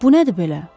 Bu nədir belə?